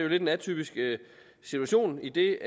lidt atypisk situation idet